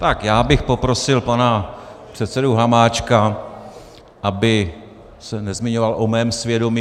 Tak já bych poprosil pana předsedu Hamáčka, aby se nezmiňoval o mém svědomí.